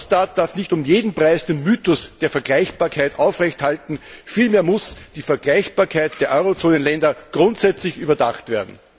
Eurostat darf nicht um jeden Preis den Mythos der Vergleichbarkeit aufrecht halten, vielmehr muss die Vergleichbarkeit der Eurozonenländer grundsätzlich überdacht werden.